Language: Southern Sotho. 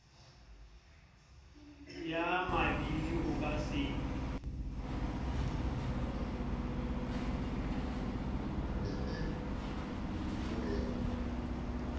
ya mabidi o ka se